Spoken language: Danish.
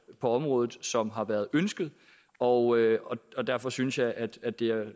på området som har været ønsket og og derfor synes jeg at at det